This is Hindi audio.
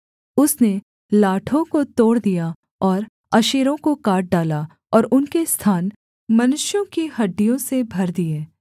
उसने लाठों को तोड़ दिया और अशेरों को काट डाला और उनके स्थान मनुष्यों की हड्डियों से भर दिए